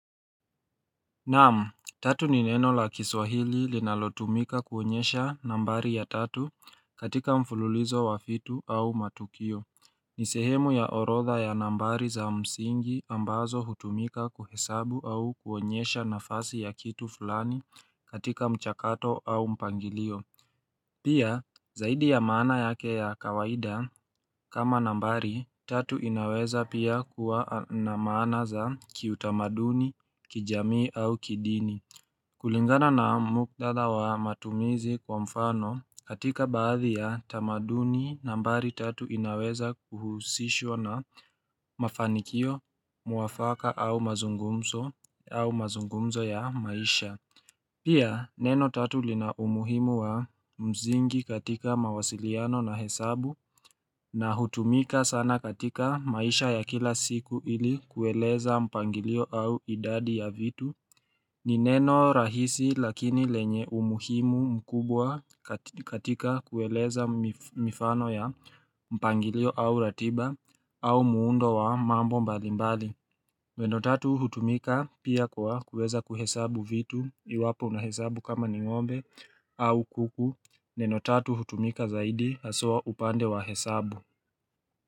Naam, tatu ni neno la kiswahili linalotumika kuonyesha nambari ya tatu katika mfululizo wa fitu au matukio. Ni sehemu ya orodha ya nambari za msingi ambazo hutumika kuhesabu au kuonyesha nafasi ya kitu fulani katika mchakato au mpangilio. Pia, zaidi ya maana yake ya kawaida, kama nambari, tatu inaweza pia kuwa na maana za kiutamaduni, kijamii au kidini. Kulingana na muktadha wa matumizi kwa mfano, katika baadhi ya tamaduni, nambari tatu inaweza kuhusishwa na mafanikio, mwafaka au mazungumzo ya maisha. Pia neno tatu lina umuhimu wa mzingi katika mawasiliano na hesabu na hutumika sana katika maisha ya kila siku ili kueleza mpangilio au idadi ya vitu ni neno rahisi lakini lenye umuhimu mkubwa katika kueleza mifano ya mpangilio au ratiba au muundo wa mambo mbalimbali Neno tatu hutumika pia kwa kuweza kuhesabu vitu iwapo unahesabu kama ni ngombe au kuku neno tatu hutumika zaidi haswa upande wa hesabu.